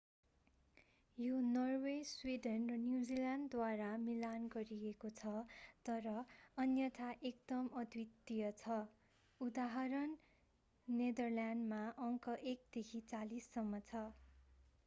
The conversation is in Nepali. यो नर्वे स्विडेन र न्यूजील्यान्डद्वारा मिलान गरिएको छ तर अन्यथा एकदम अद्वितीय छ उदाहरण नेदरल्यान्डमा अङ्क एक देखि चालीससम्म छ।